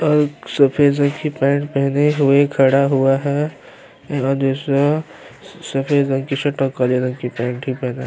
और सफ़ेद रंग के पेंट पहने हुए खड़ा हुआ है और दूसरा सफ़ेद रंग की शर्ट और काले रंग के पेंट भी पहना है।